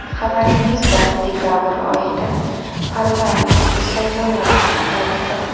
Xabaringiz bor, dekabr oyida parlamentga saylovlar kutilyapti.